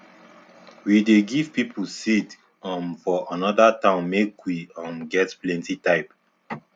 we dey give people seeds um for another town make we um get plenty type